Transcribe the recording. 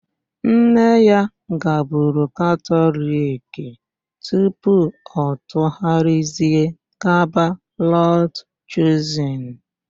Nne ya gaburu Katọliki tupu ọ tụgharịzie gaba Lọd Chuzin.